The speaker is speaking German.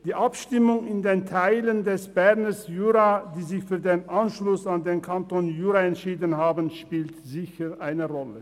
Die Abstimmung in den Teilen des Berner Juras, die sich für den Anschluss an den Kanton Jura entschieden haben, spielt sicher eine Rolle.